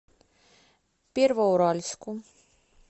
первоуральску